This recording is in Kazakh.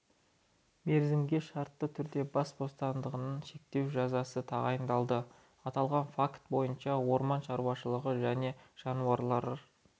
мерзімге шартты түрде бас бостандығын шектеу жазасы тағайындалды аталған факт бойынша орман шаруашылығы және жануарлар